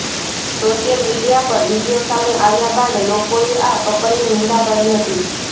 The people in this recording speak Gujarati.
સોશિયલ મીડિયા પર વીડિયો સામે આવ્યા બાદ લોકોએ આ કપલની નિંદા કરી હતી